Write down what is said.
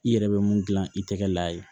I yɛrɛ bɛ mun gilan i tɛgɛ la yen